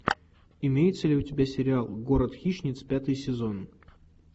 имеется ли у тебя сериал город хищниц пятый сезон